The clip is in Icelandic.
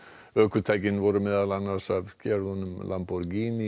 ökutækin voru meðal annars af gerðunum lamborghini